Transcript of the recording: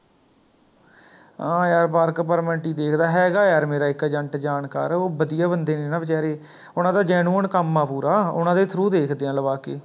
ਹਾਂ ਯਾਰ Work permit ਹੀ ਦੇਖਦਾ ਹੈਗਾ ਯਾਰ ਮੇਰਾ ਇੱਕ Agent ਜਾਣਕਾਰ, ਓਹ ਵਧੀਆ ਬੰਦੇ ਨੇ ਨਾ ਬੇਚਾਰੇ ਉਹਨਾਂ ਦਾ genuine ਕੰਮ ਆ ਪੂਰਾ ਓਨਾ ਦੇ through ਦੇਖਦੇ ਆ ਲਵਾ ਕੇ